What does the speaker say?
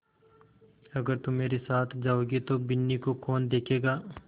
अगर तुम मेरे साथ जाओगे तो बिन्नी को कौन देखेगा